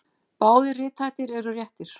Báðir rithættir eru réttir.